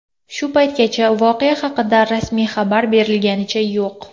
Shu paytgacha voqea haqida rasmiy xabar berilganicha yo‘q.